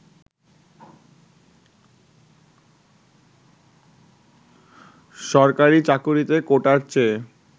সরকারি চাকুরীতে কোটার চেয়ে